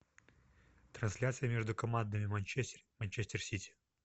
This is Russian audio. трансляция между командами манчестер манчестер сити